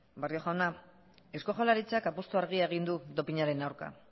barrio jauna eusko jaurlaritzak apustu argia egin du dopinaren aurka